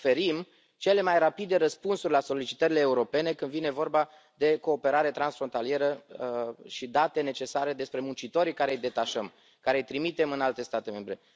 Oferim cele mai rapide răspunsuri la solicitările europene când vine vorba de cooperare transfrontalieră și date necesare despre muncitorii pe care îi detașăm, pe care îi trimitem în alte state membre.